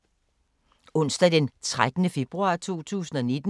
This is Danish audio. Onsdag d. 13. februar 2019